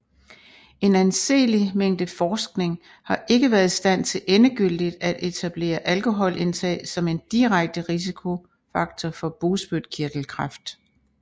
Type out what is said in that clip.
En anseelig mængde forskning har ikke været i stand til endegyldigt at etablere alkoholindtag som en direkte risikofaktor for bugspytkirtelkræft